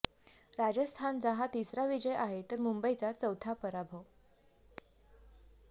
राजस्थानचा हा तिसरा विजय आहे तर मुंबईचा चौथा पराभव